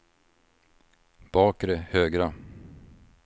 bakre högra